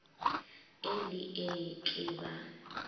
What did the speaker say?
e le ee ke ba